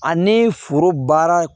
Ani foro baara